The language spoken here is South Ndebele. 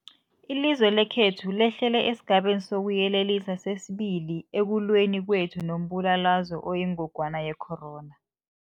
Ilizwe lekhethu lehlele esiGabeni sokuYelelisa sesi-2 ekulweni kwethu nombulalazwe oyingogwana ye-corona.